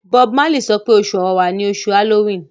Bob sope Oṣù Ọ̀wàrà ní oṣù Halloween.